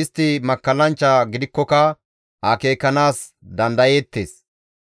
Istti makkallanchcha gidikkoka akeekanaas dandayeettes.